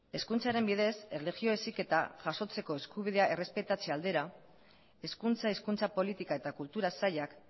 hezkuntzaren bidez erlijio heziketa jasotzeko eskubidea errespetatze aldera hezkuntza hizkuntza politika eta kultura sailak